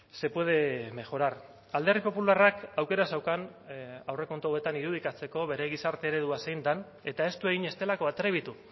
se puede mejorar alderdi popularrak aukera zeukan aurrekontu hauetan irudikatzeko bere gizarte eredua zein den eta ez du egin ez delako atrebitu